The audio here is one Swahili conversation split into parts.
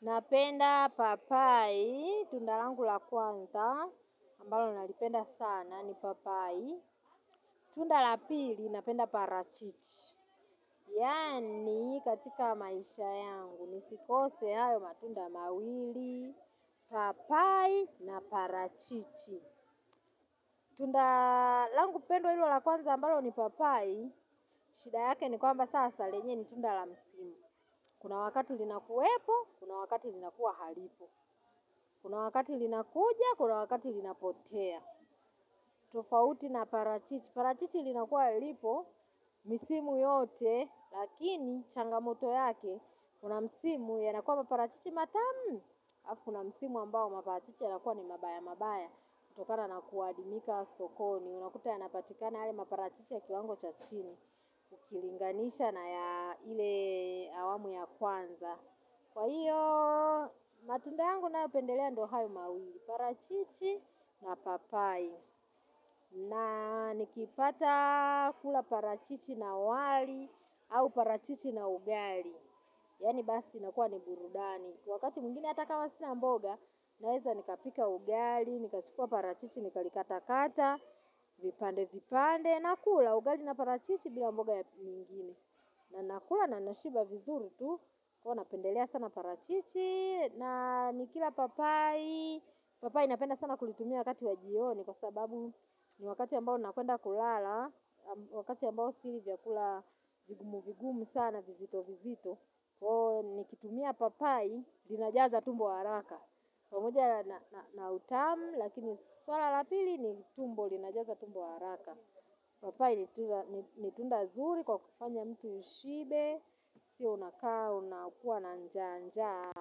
Napenda papai, tundalangu lakwanza, ambalo nalipenda sana ni papai. Tundalapili, napenda parachichi. Yaani, katika maisha yangu, nisikose hayo matunda mawili, papai na parachichi. Tundalangu pendwa lililo lakwanza, ambalo ni papai, shida yake ni kwamba sasa lenyewe ni tundalamsimu. Kuna wakati linakuwepo, kuna wakati linakuwa halipo. Kuna wakati linakuja, kuna wakati linapotea. Tofauti na parachichi. Parachichi linakuwa lipo, misimu yote, lakini changamoto yake. Kuna msimu yanakuwa maparachichi matamu. Kuna msimu ambao maparachichi yanakuwa ni mabaya mabaya. Kutokana naku adimika sokoni. Unakuta yanapatikana yale maparachichi ya kiwango chachini. Ukilinganisha na ya ile awamu ya kwanza. Kwa hiyo, matunda yangu ninayo pendelea ndio hayo mawili, parachichi na papai. Na nikipata kula parachichi na wali au parachichi na ugali. Yaani basi inakuwa ni burudani. Kwa wakati mwingine hata kama sina mboga, naeza nikapika ugali, nikachukua parachichi, nikalikata kata, vipande vipande. Nakula ugali na parachichi bila mboga nyingine. Na nakula na nashiba vizuri tu, huwa napendelea sana parachichi, na nikila papai, papai napenda sana kulitumia wakati wajioni kwa sababu ni wakati ambao nakwenda kulala, wakati ambao sili vyakula vigumu vigumu sana vizito vizito. Ni kitumia papai linajaza tumbo haraka pamoja na utamu lakini swala la pili ni tumbo linajaza tumbo haraka papai ni tunda nzuri kwa kufanya mtu ushibe sio unakaa unakuwa na njaa njaa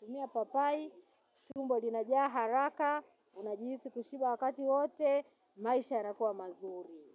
tumia papai tumbo linajaa haraka unajihisi kushiba wakati wote maisha yanakuwa mazuri.